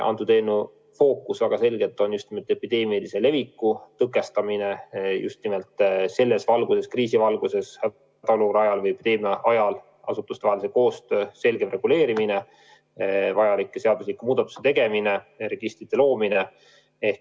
Eelnõu fookus on väga selgelt epideemilise leviku tõkestamine: just nimelt selles valguses, kriisi valguses, epideemia ajal asutustevahelise koostöö selgem reguleerimine, vajalike seadusemuudatuste tegemine, registri loomine.